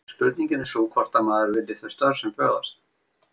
Spurningin er sú hvort að maður vilji þau störf sem bjóðast.